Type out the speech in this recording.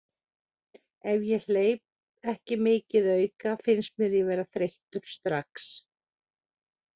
Ef ég hleyp ekki mikið auka finnst mér ég vera þreyttur strax.